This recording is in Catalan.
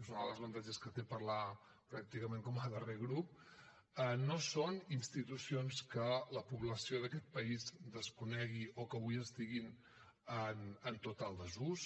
és un dels avantatges que té parlar pràcticament com a darrer grup no són institucions que la població d’aquest país desconegui o que avui estiguin en total desús